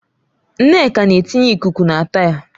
Nneka na-etinye ikuku na taya.